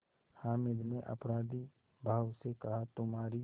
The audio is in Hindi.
हामिद ने अपराधीभाव से कहातुम्हारी